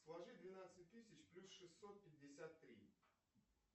сложи двенадцать тысяч плюс шестьсот пятьдесят три